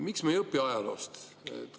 Miks me ei õpi ajaloost?